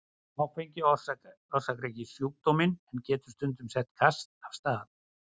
Áfengi orsakar ekki sjúkdóminn en getur stundum sett kast af stað.